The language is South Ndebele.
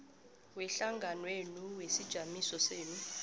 wehlanganwenu wesijamiso senu